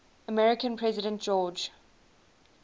american president george